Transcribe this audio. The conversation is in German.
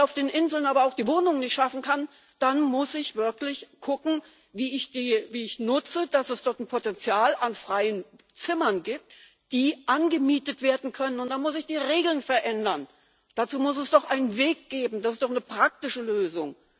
Wenn ich auf den Inseln aber auch die Wohnungen nicht schaffen kann, dann muss ich wirklich gucken, wie ich nutze, dass es dort ein Potenzial an freien Zimmern gibt, die angemietet werden können, und dann muss ich die Regeln verändern! Dazu muss es doch einen Weg geben, das ist doch eine praktische Lösung!